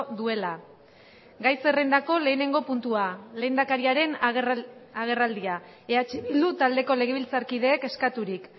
duela gai zerrendako lehenengo puntua lehendakariaren agerraldia eh bildu taldeko legebiltzarkideek eskaturik